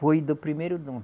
Foi do primeiro dono.